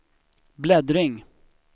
bläddring